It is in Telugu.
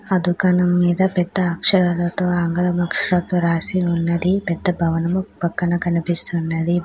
ఆ దుకాణం మీద పెద్ద అక్షరాలతో ఆంగ్లం అక్షరాలతో రాసి ఉన్నది. పెద్ద భవనము పక్కన కనిపిస్తున్నది.